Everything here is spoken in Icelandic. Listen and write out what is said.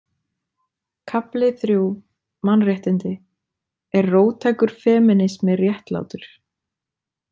Kafli III: Mannréttindi Er róttækur femínismi réttlátur?